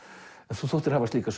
þú þóttir hafa slíka